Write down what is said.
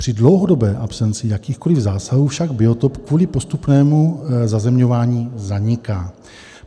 Při dlouhodobé absenci jakýchkoli zásahů však biotop kvůli postupnému zazemňování zaniká.